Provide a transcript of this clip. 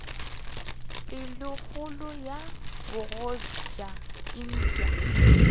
pelokgolo ya bogoja e tšwa